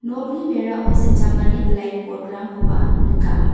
nokni berao sechakani blackboard-rangkoba nika.